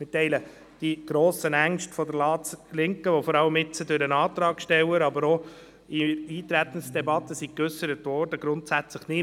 Wir teilen die grossen Ängste der Ratslinken, die jetzt vor allem durch den Antragsteller, aber auch in der Eintretensdebatte geäussert worden sind, grundsätzlich nicht.